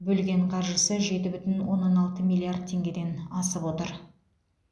бөлген қаржысы жеті бүтін оннан алты миллиард теңгеден асып отыр